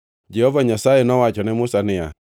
Jehova Nyasaye nowacho ne Musa niya,